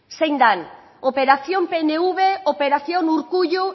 zein dan operación pnv operación urkullu